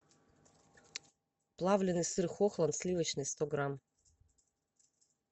плавленный сыр хохланд сливочный сто грамм